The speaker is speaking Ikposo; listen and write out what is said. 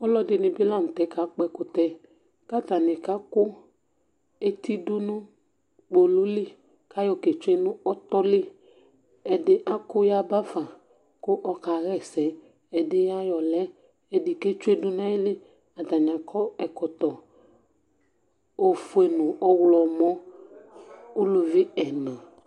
Ɔlʋɛdìní bi la ntɛ kakpɔ ɛkʋtɛ kʋ atani kaku eti dʋnu kpolu li kʋ ayɔ ketsʋe nʋ ɔtɔli Ɛdí aku yabafa kʋ ɔkaɣɛsɛ Ɛdí ayɔ lɛ Ɛdí ketsʋe dʋnu ayìlí Atani akɔ ɛkɔtɔ ɔfʋe nʋ ɔwlɔmɔ Ʋlʋvi ɛna